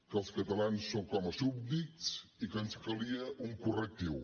que els catalans som com a súbdits i que ens calia un correctiu